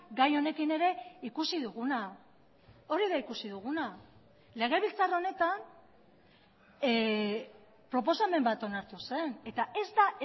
gai honekin ere ikusi duguna hori da ikusi duguna legebiltzar honetan proposamen bat onartu zen eta ez da